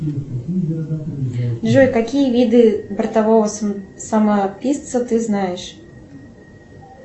джой какие виды бортового самописца ты знаешь